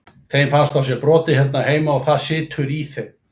Þeim fannst á sér brotið hérna heima og það situr í þeim.